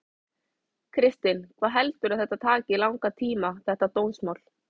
Kristinn: Hvað heldurðu að þetta geti tekið langan tíma þetta dómsmál?